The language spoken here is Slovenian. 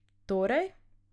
Torej?